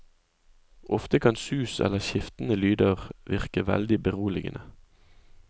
Ofte kan sus eller skiftende lyder virke veldig beroligende.